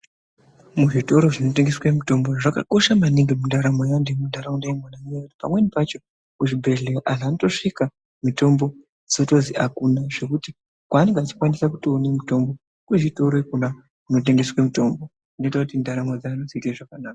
Muzvitoro zvinotengeswe mitombo zvakakosha maningi mundaramo yeantu emuntaraunda imwona ngekuti pamweni pacho kuzvibhedhlera anhu anotosvika mitombo dzotozwi akuna zvekuti kwavanenge achikwanisa kutoone mitombo kuzvitoro Kona kunotengeswe mitombo dzinoite kuti ndaramo dzedu dziite zvakanaka.